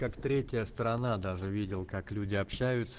третья страна даже видел как люди общаются